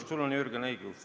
Sul on, Jürgen, õigus.